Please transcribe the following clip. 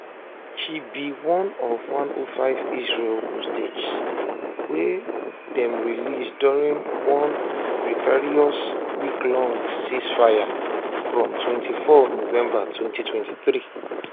she be one of 105 israeli hostages wy dem release during one precarious weeklong ceasefire from 24 november 2023